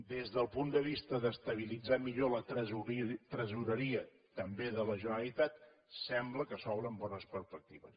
des del punt de vista d’estabilitzar millor la tresoreria també de la generalitat sembla que s’obren bones perspectives